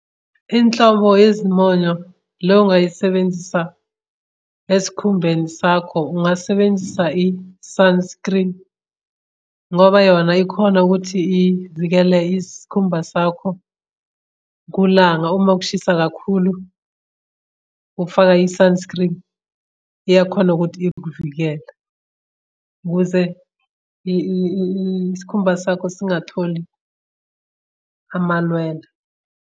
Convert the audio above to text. Inhlobo yezimonyo le ongayisebenzisa esikhumbeni sakho, ungasebenzisa i-sunscreen ngoba yona ikhona ukuthi ivikele isikhumba sakho kulanga. Uma kushisa kakhulu ukufaka i-sunscreen iyakhona ukuthi ikuvikela ukuze isikhumba sakho singatholi amalweda.